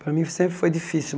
Para mim, sempre foi difícil.